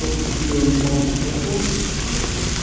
тока купила мне мамка смартфон вот